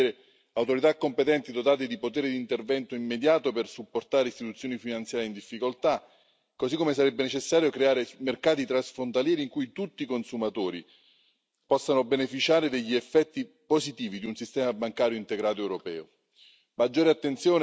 Sarebbe importante avere autorità competenti, dotate di poteri di intervento immediato per supportare istituzioni finanziarie in difficoltà, così come sarebbe necessario creare mercati transfrontalieri in cui tutti i consumatori possano beneficiare degli effetti positivi di un sistema bancario integrato europeo.